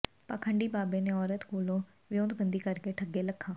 ਪਾਖੰਡੀ ਬਾਬੇ ਨੇ ਔਰਤ ਕੋਲੋਂ ਵਿਓਂਤਬੰਦੀ ਕਰਕੇ ਠੱਗੇ ਲੱਖਾਂ